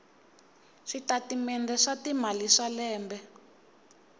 switatimende swa timali swa lembe